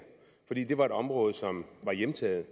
fordi det var et område som var hjemtaget